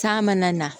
K'a mana na